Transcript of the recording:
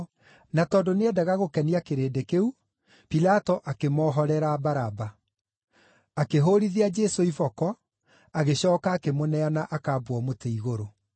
Na tondũ nĩendaga gũkenia kĩrĩndĩ kĩu, Pilato akĩmohorera Baraba. Akĩhũũrithia Jesũ iboko, agĩcooka akĩmũneana akambwo mũtĩ igũrũ.